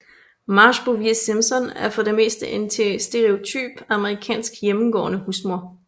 Marge Bouvier Simpson er for det meste en stereotyp amerikansk hjemmegående husmor